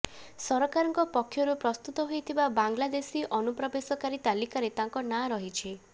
ସରକାରଙ୍କ ପକ୍ଷରୁ ପ୍ରସ୍ତୁତ ହୋଇଥିବା ବାଂଲାଦେଶୀ ଅନୁପ୍ରବେଶକାରୀ ତାଲିକାରେ ତାଙ୍କ ନାଁ ରହିଛି